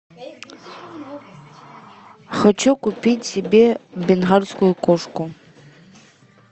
хочу купить себе бенгальскую кошку